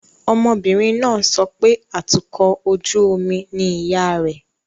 Ọmọbìnrin náà ń sọ pé atukọ̀ ojú omi ni ìyá rẹ̀